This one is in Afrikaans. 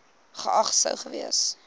geag sou gewees